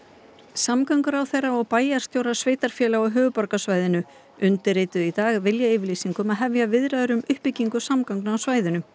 samgönguráðherra og bæjarstjórar sveitarfélaga á höfuðborgarsvæðinu undirituðu í dag viljayfirlýsingu um að hefja viðræður um uppbyggingu samgangna á svæðinu